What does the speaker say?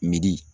Midi